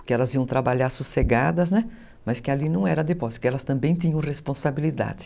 porque elas iam trabalhar sossegadas, né, mas que ali não era depósito, que elas também tinham responsabilidade.